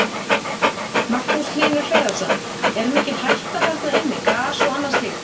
Magnús Hlynur Hreiðarsson: Er mikil hætta þarna inni, gas og annað slíkt?